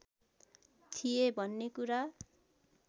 थिए भन्ने कुरा